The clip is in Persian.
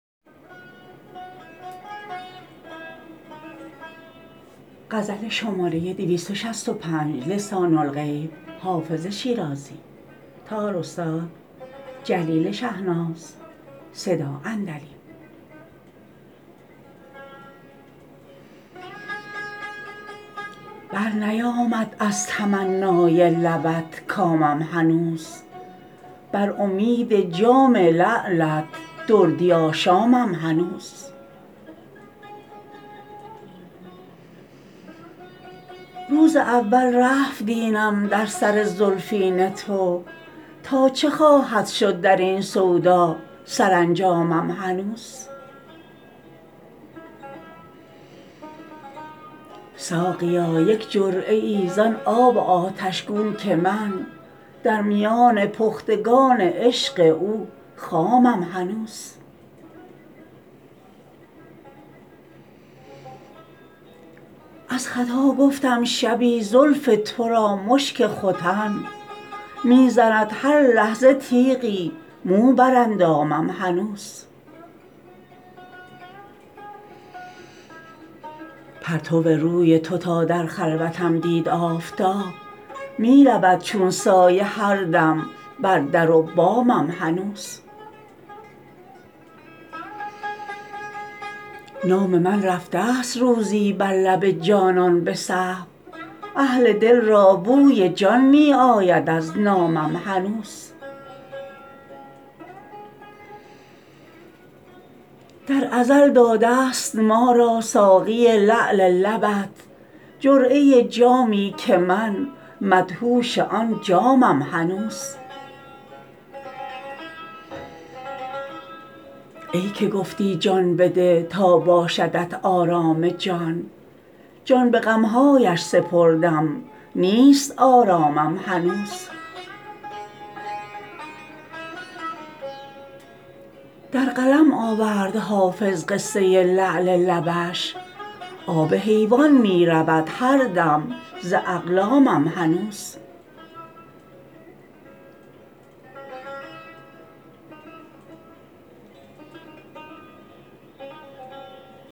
برنیامد از تمنای لبت کامم هنوز بر امید جام لعلت دردی آشامم هنوز روز اول رفت دینم در سر زلفین تو تا چه خواهد شد در این سودا سرانجامم هنوز ساقیا یک جرعه ای زان آب آتش گون که من در میان پختگان عشق او خامم هنوز از خطا گفتم شبی زلف تو را مشک ختن می زند هر لحظه تیغی مو بر اندامم هنوز پرتو روی تو تا در خلوتم دید آفتاب می رود چون سایه هر دم بر در و بامم هنوز نام من رفته ست روزی بر لب جانان به سهو اهل دل را بوی جان می آید از نامم هنوز در ازل داده ست ما را ساقی لعل لبت جرعه جامی که من مدهوش آن جامم هنوز ای که گفتی جان بده تا باشدت آرام جان جان به غم هایش سپردم نیست آرامم هنوز در قلم آورد حافظ قصه لعل لبش آب حیوان می رود هر دم ز اقلامم هنوز